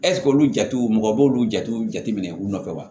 ɛsike olu jatew mɔgɔ b'olu jatew jateminɛ u nɔfɛ wa